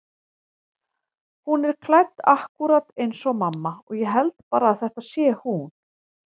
Hún er klædd akkúrat eins og mamma og ég held bara að þetta sé hún.